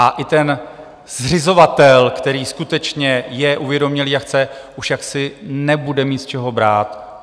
A i ten zřizovatel, který skutečně je uvědomělý a chce, už jaksi nebude mít z čeho brát.